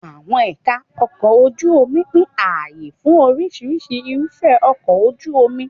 Àwọn ẹ̀ka ọkọ̀ ojú omi pín ààyè fún oríṣiríṣi irúfẹ́ ọkọ̀ ojú omi.